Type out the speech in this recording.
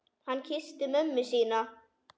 Hann kyssti mömmu sína.